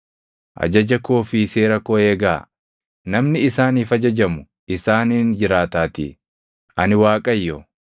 Ajaja koo fi seera koo eegaa; namni isaaniif ajajamu isaaniin jiraataatii; ani Waaqayyo.